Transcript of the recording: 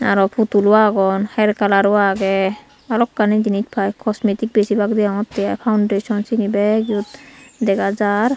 aro potulo aagon her colour o aage balokkani jinij pai cosmetic besibak deyongotte i foundation sene bek eyod dega jar.